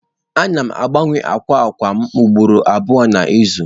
Ana m agbanwe akwa akwa m ugboro abụọ n'izu.